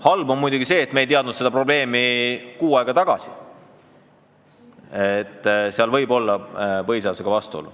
Halb on muidugi see, et me ei teadnud kuu aega tagasi, et seal võib olla vastuolu põhiseadusega.